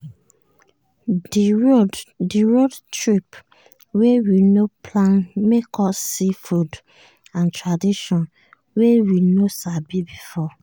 di road trip wey we nor plan make us see food and tradition wey we nor sabi before.